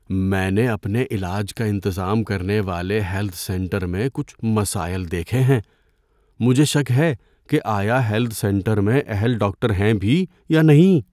میں نے اپنے علاج کا انتظام کرنے والے ہیلتھ سینٹر میں کچھ مسائل دیکھے ہیں۔ مجھے شک ہے کہ آیا ہیلتھ سینٹر میں اہل ڈاکٹر ہیں بھی یا نہیں۔